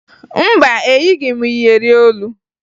Mba, eyighi m iyeri olu